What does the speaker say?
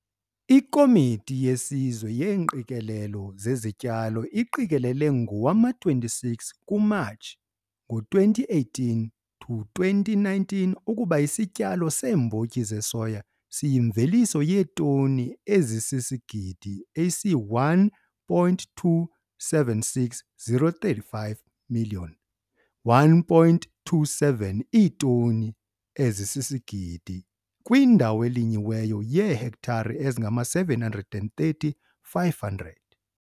IKOMITI YESIZWE YEENGQIKELELO ZEZITYALO IQIKELELE NGOWAMA-26 KUMATSHI NGO-2018 TO 2019 UKUBA ISITYALO SEEMBOTYI ZESOYA SIYIMVELISO YEETONI EZISISIGIDI ESI-1 276 035, 1,27 IITONI EZISISIGIDI, KWINDAWO ELINYIWEYO YEEHEKTARE EZINGAMA-730 500.